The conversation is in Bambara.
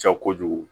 Ca kojugu